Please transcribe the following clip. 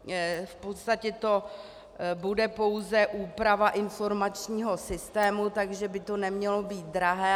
V podstatě to bude pouze úprava informačního systému, takže by to nemělo být drahé.